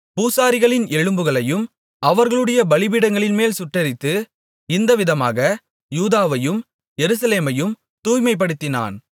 பூசாரிகளின் எலும்புகளை அவர்களுடைய பலிபீடங்களின்மேல் சுட்டெரித்து இந்தவிதமாக யூதாவையும் எருசலேமையும் தூய்மைப்படுத்தினான்